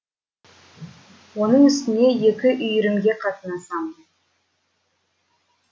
оның үстіне екі үйірімге қатынасамын